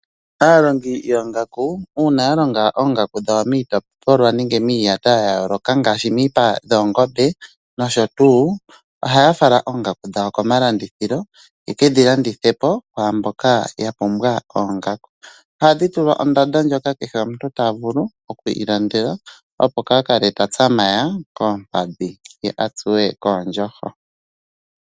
Aalandi yoongaku uuna ya longa oongaku dhawo miitopolwa nenge miiyata ya yooloka ngaashi miipa yoongombe nosho tuu ohaya fala oongaku dhawo komalandithilo ye ke dhi landithe po kwaa mboka ya pumbwa oongaku. Ohadhi tulwa ondando ndjoka kehe omuntu ta vulu oku ilandela oongaku, opo kaa kale ta tsamaya koompadhi ye a tsuwe koondjoho.